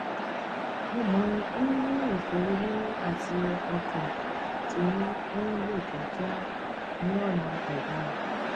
mo máa ń ní ìsọrọ mímí àti ọkàn tí ń lù kíákíá ní ọnà àìdára